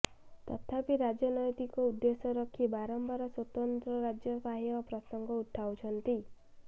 ତଥାପି ରାଜନୈତିକ ଉଦ୍ଦେଶ୍ୟ ରଖି ବାରମ୍ବାର ସ୍ୱତନ୍ତ୍ର ରାଜ୍ୟ ପାହ୍ୟା ପ୍ରସଙ୍ଗ ଉଠାଉଛନ୍ତି